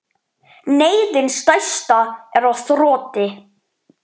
Neyðin stærsta er á þroti.